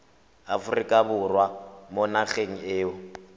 aforika borwa mo nageng eo